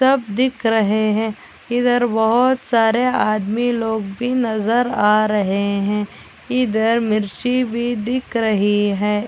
तब दिख रहे है इधर बहुत सारे नज़र आ रहे है इधर मिर्ची भी दिख रही है।